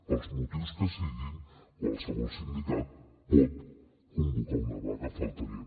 pels motius que siguin qualsevol sindicat pot convocar una vaga només faltaria